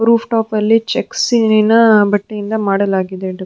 Roof ಟೊಪಲ್ಲಿ ಚೆಕ್ಸಿನ ಬಟ್ಟೆಯಿಂದ ಮಾಡಲಾಗಿದೆ.